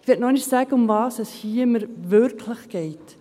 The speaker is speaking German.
Ich möchte noch einmal sagen, worum es mir hier geht.